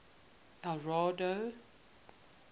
eldorado